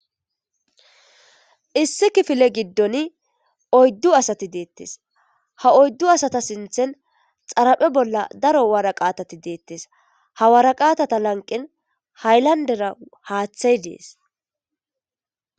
Issi kifile gidon oydu asati detes ha oydu asata sinten xara'e bola daro woraqetati detes ha woraqatata lanqen haylandera hatay dees.